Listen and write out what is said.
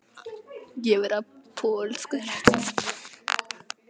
Jökulskildirnir þrýstu landinu mest niður þar sem þeir voru þykkastir.